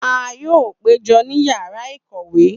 A yoo pejọ ni yara ikowe.